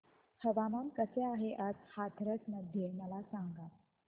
हवामान कसे आहे आज हाथरस मध्ये मला सांगा